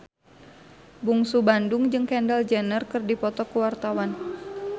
Bungsu Bandung jeung Kendall Jenner keur dipoto ku wartawan